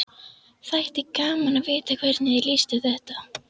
Þætti gaman að vita hvernig þér líst á þetta?